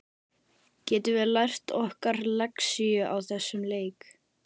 Getum við lært okkar lexíu á þessum leik?